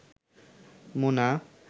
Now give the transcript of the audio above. Mona